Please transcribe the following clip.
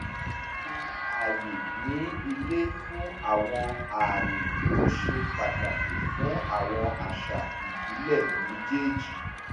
ṣe àyè ní ílé fún àwọn àmì tó ṣe pàtàkì fún àwọn àṣà ìbílẹ̀ méjèèjì